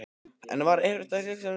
En var erfitt að gera upp hug sinn?